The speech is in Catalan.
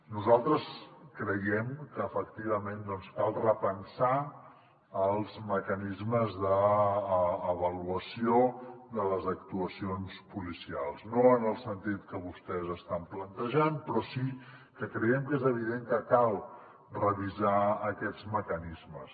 nosaltres creiem que efectivament doncs cal repensar els mecanismes d’avaluació de les actuacions policials no en el sentit que vostès estan plantejant però sí que creiem que és evident que cal revisar aquests mecanismes